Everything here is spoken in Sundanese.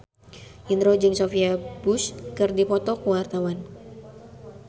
Indro jeung Sophia Bush keur dipoto ku wartawan